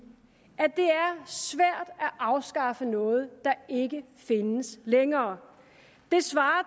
at at afskaffe noget der ikke findes længere det svarer